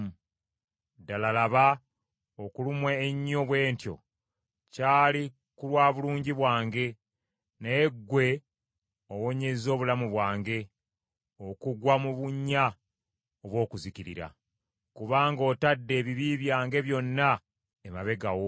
Ddala laba okulumwa ennyo bwe ntyo kyali ku lwa bulungi bwange, naye ggwe owonyezza obulamu bwange okugwa mu bunnya obw’okuzikirira. Kubanga otadde ebibi byange byonna emabega wo.